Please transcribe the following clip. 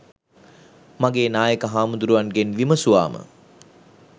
මගේ නායක හාමුදුරුවන්ගෙන් විමසුවාම